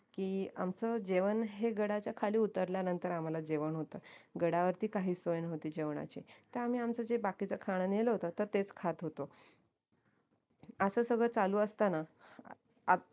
की आमचं जेवण हे गडाच्या खाली उतरल्या नंतर आम्हाला जेवण होत गडा वरती काहीच सोय नव्हती जेवणाची तर आम्ही आमचं जे बाकीचं खाणं नेलं होत तेच खात होतो असाच सगळं चालू असताना